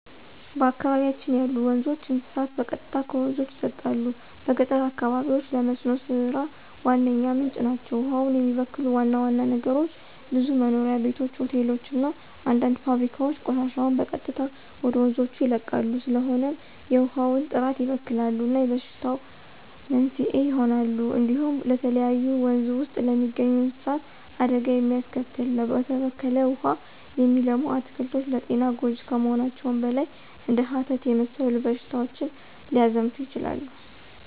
በአካባቢያችን ያሉ ወንዞች፣ እንስሳት በቀጥታ ከወንዞች ይጠጣሉ። በገጠር አካባቢዎች ለመስኖ ሥራ ዋነኛ ምንጭ ናቸው። ውሃውን የሚበክሉ ዋና ዋና ነገሮች ብዙ መኖሪያ ቤቶች፣ ሆቴሎች እና አንዳንድ ፋብሪካዎች ቆሻሻቸውን በቀጥታ ወደ ወንዞች ይለቃሉ። ስለሆነም የውሃውን ጥራት ይበክላሉ እና የበሽታዎች መንስኤ ይሆናሉ። እንዲሁም ለተለያዩ ወንዝ ውስጥ ለሚገኙ እንስሳት አደጋ የሚያስከትል ነው። በተበከለ ውሃ የሚለሙ አትክልቶች ለጤና ጎጅ ከመሆናቸውም በላይ እንደ ሀተት የመሰሉ በሽታዎች ሊያዛምቱ ይችላሉ።